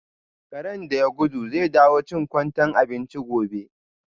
Karen da ya gudu zai dawo chin kwantai abinchi gobe.